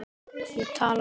Ég talaði við